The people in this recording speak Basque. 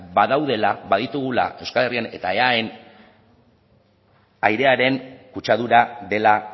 badaudela baditugula euskal herrian eta eaen airearen kutsadura dela